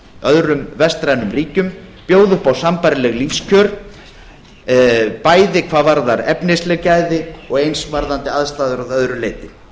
öðrum vestrænum ríkjum bjóði upp á sambærileg lífskjör bæði hvað varðar efnisleg gæði og eins varðandi aðstæður að öðru leyti